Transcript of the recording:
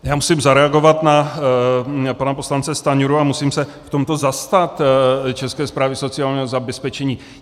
Já musím zareagovat na pana poslance Stanjuru a musím se v tomto zastat České správy sociálního zabezpečení.